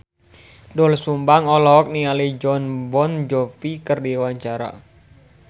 Doel Sumbang olohok ningali Jon Bon Jovi keur diwawancara